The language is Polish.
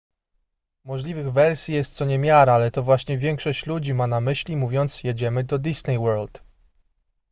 możliwych wersji jest co niemiara ale to właśnie większość ludzi ma na myśli mówiąc jedziemy do disney world